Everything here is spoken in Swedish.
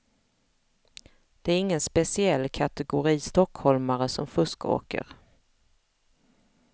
Det är ingen speciell kategori stockholmare som fuskåker.